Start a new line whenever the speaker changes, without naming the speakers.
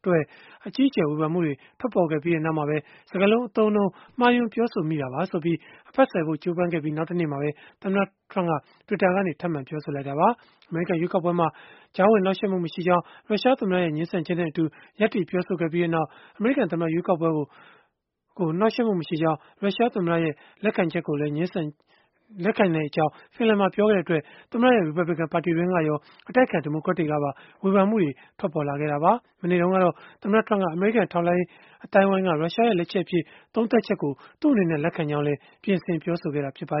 အတွက် အကြီးအကျယ် ဝေဖန်မှုတွေ ထွက်ပေါ်ခဲ့ပြီး နောက်မှာပဲ၊ စကားလုံး အသုံးအနှုန်းမှားယွင်း ပြောဆိုမိတာပါဆိုပြီး အဖတ်ဆယ်ဖို့ ကြိုးပမ်းခဲ့ပြီး နောက်တနေ့မှာပဲ သမ္မတ Trump က Twitter ကနေ ထပ်မံပြောဆိုလိုက်တာပါ။ အမေရိကန် ရွေးကောက်ပွဲမှာ ကြားဝင်နှောက်ယှက်မှု မရှိကြောင်း ရုရှားသမ္မတရဲ့ ငြင်းဆန်ချက်နဲ့အတူ ရပ်တည်ပြောဆိုခဲ့ပြီးနောက်၊ အမေရိကန်သမ္မတ ရွေးကောက်ပွဲကို နှောက်ယှက်မှု မရှိကြောင်း ရုရှားသမ္မတရဲ့ ငြင်းဆန်ချက်ကို လက်ခံကြောင်း ဖန်လန်မှာ ပြောခဲ့တဲ့အတွက် သမ္မတရဲ့ ရီပတ်ဘလစ်ကန် ပါတီတွင်းကရော အတိုက်အခံ ဒီမိုကရက်တွေကပါ ဝေဖန်မှုတွေ ထွက်ပေါ်ခဲ့ပြီးနောက် မနေ့တုန်းကတော့ သမ္မတ Trump က အမေရိကန် ထောက်လှမ်းရေး အသိုင်းအဝန်းက ရုရှားရဲ့ လက်ချက်အဖြစ် သုံးသပ်ချက်ကို သူ့အနေနဲ့ လက်ခံကြောင်း ပြင်ဆင်ပြောဆိုခဲ့တာ ဖြစ်ပါ